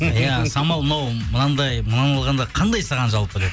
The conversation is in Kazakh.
иә самал мынау мынандай мынаны алғанда қандай саған жалпы деп